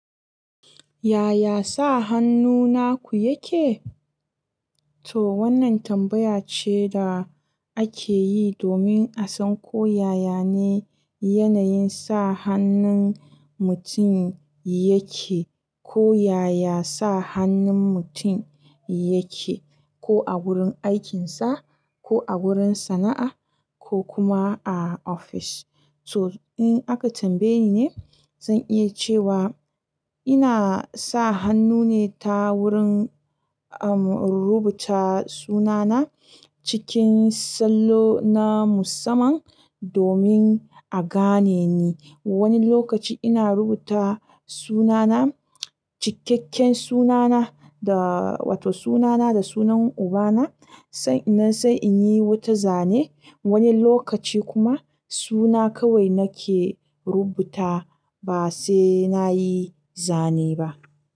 Yaya sa hannu naku yake? To wannan tambaya ce da ake yi domin a san ko yaya ne yanayin sa hannun mutum yake, ko yaya sa hannun mutum yake ko a wurin aikinsa, ko a wurin sana'a ko kuma a office. To in aka tambaye ni ne, zan iya cewa ina sa hannu ne ta wurin, um, rubuta sunana cikin sallo na musamman domin a gane ni. Wani lokaci ina rubuta sunana, cikakken sunana da, wato sunana da sunan ubana, sannan sai in yi wata zane. Wani lokaci kuma suna kawai nake rubuta ba sai na yi zane ba.